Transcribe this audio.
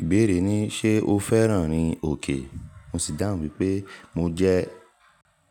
Ìbéèrè ni "ṣé o fẹ́ràn rin òkè?" mo sì dáhùn wípé mo jẹ́